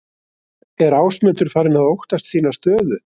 Er Ásmundur farinn að óttast sína stöðu?